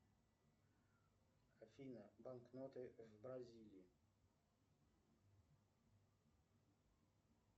афина банкноты в бразилии